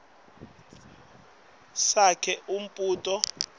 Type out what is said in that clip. sakhe umbuso lotfutfuke